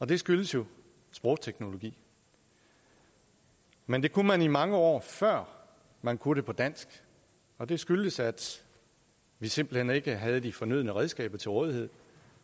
det skyldes jo sprogteknologi men det kunne man mange år før man kunne det på dansk og det skyldtes at vi simpelt hen ikke havde de fornødne redskaber til rådighed